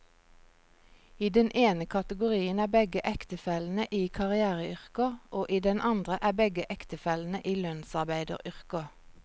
I den ene kategorien er begge ektefellene i karriereyrker, og i den andre er begge ektefellene i lønnsarbeideryrker.